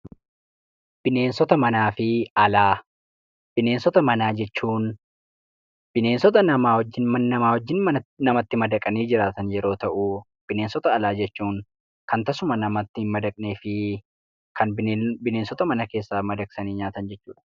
Bineensota Manaa fi Alaa Bineensota manaa jechuun bineensota namaa wajjin namatti madaqanii jiraatan yeroo ta'u, bineensota alaa jechuun kan tasuma namatti hin madaqnee fi kan bineensota mana keessaa madaqsanii nyaatan jechuu dha.